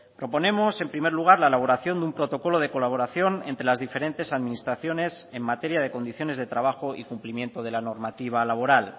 proponemos en primer lugar la elaboración de un protocolo de colaboración entre las diferentes administraciones en materia de condiciones de trabajo y cumplimiento de la normativa laboral